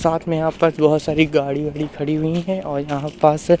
साथ मे यहां पर बहुत सारी गाड़ी-वाड़ी खड़ी हुई है और यहां पास--